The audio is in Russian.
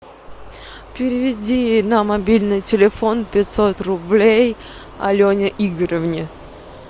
переведи на мобильный телефон пятьсот рублей алене игоревне